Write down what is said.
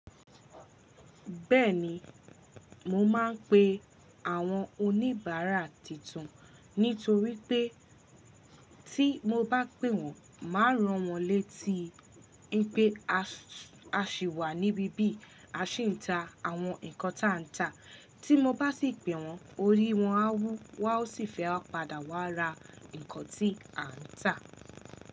Bẹ́ẹ̀ni, mo máa ń pe àwọn oníbàárà tuntun nítorí pé tí mo bá pè wọ́n, màá rán wọ́n létí wipé a sì wà níbí bí a sì ń ta àwọn nǹkan táa ń ta. Tí mo bá sì pè wọ́n, orí wọ́n á wú wọ́n á sì fẹ́ padà wá ra nǹkan tí à ń tà.